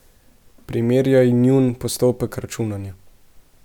Primerjaj njun postopek računanja.